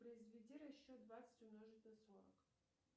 произведи расчет двадцать умножить на сорок